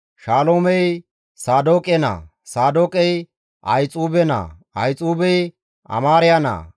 Shaloomey Saadooqe naa, Saadooqey Ahixuube naa, Ahixuubey Amaariya naa,